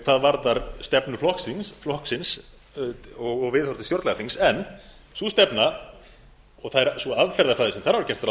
hvað varðar stefnu flokksins og viðhorf til stjórnlagaþings en sú stefna og það er sú aðferðafræði sem þarf að gera ráð